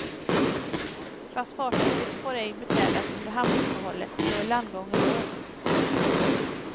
Fast fartyget får ej beträdas under hamnuppehållet, då är landgången låst.